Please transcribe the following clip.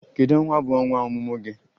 Kedu Ọnwa bu ọnwa ọmụmụ gị?